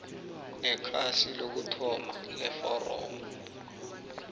nekhasi lokuthoma leforomo